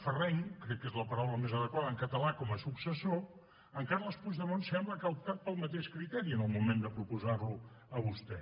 ferreny crec que és la paraula més adequada en català com a successor en carles puigdemont sembla que ha optat pel mateix criteri en el moment de proposar lo a vostè